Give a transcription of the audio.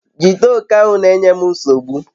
jide oke ahu nenye m nsogbu